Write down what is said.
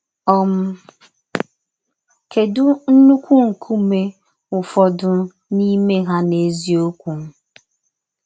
um Kèdù ńnùkwú nkúmè Ụ́fọdụ̀ n’ímè ha n’èzíokwu?